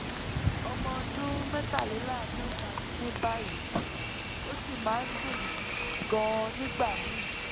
ọmọ ọdún mẹ́tàléláàádọ́ta ni mí báyìí ó sì máa ń dùn mí gan-an nígbà míì